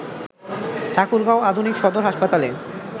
ঠাকুরগাঁও আধুনিক সদর হাসপাতালে